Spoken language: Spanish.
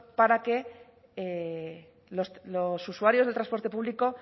para que los usuarios del transporte público